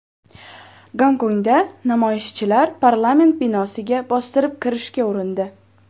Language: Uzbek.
Gonkongda namoyishchilar parlament binosiga bostirib kirishga urindi .